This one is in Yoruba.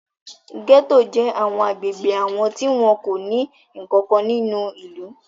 Gẹ́tò jẹ́ àwọn agbègbè àwọn tí wọn kò ní nǹkan kan nínú ìlú.